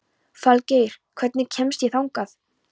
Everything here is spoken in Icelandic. Falgeir, hvernig kemst ég þangað?